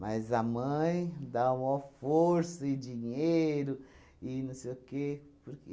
Mas a mãe dá a mó força e dinheiro e não sei o quê. Porque